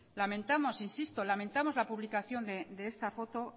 lamentamos insisto lamentamos la publicación de esta foto